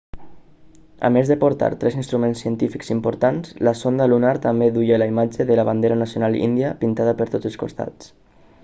a més de portar tres instruments científics importants la sonda lunar també duia la imatge de la bandera nacional índia pintada per tots els costats